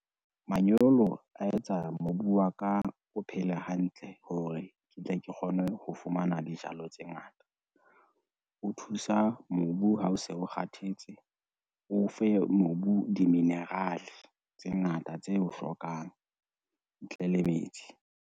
Manyolo a etsa mobu wa ka, o phele hantle hore ke tle ke kgone ho fumana dijalo tse ngata. O thusa mobu ha o se o kgathetse, o fe mobu di-mineral-e tse ngata tse o hlokang ntle le metsi.